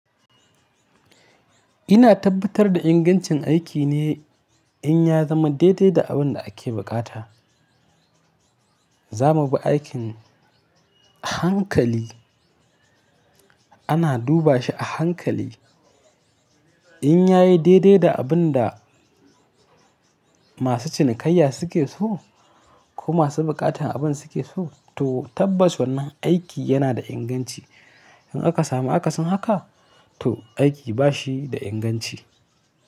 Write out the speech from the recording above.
Ina tabbatar da ingancin aiki ne in ya zama daidai da abin da ake buƙata. Za mu bi aikin a hankali, ana duba shi a hankali. In ya yi daidai da abin da masu cinikayya suke so ko masu buƙatar abin suke so, to tabbas wannan aiki yana da inganci. In aka samu akasin haka, to aiki ba shi da inganci.